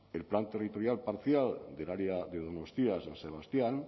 el plan territorial parcial del área de donostia san sebastián